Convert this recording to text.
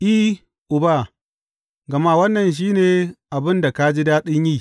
I, Uba, gama wannan shi ne abin da ka ji daɗin yi.